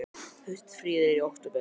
Haustfríið er í október.